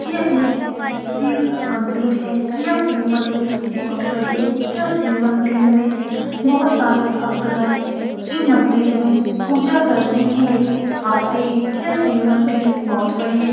यह एक शिव मंदिर है यह शिव मंदिर बहुत बड़ी है यह शिव मंदिर में बहुत सारे भक्तगण शिव मंदिर में पूजा करने के लिए आते है यह शिव मंदिर बहुत बड़ी है।